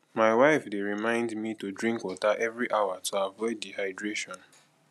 my wife dey remind me to drink water every hour to avoid dehydration